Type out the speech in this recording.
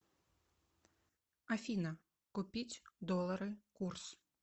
афина купить доллары курс